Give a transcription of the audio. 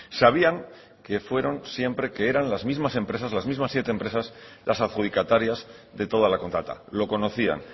sabían que fueron siempre que eran las mismas empresas las mismas siete empresas las adjudicatarias de toda la contrata lo conocían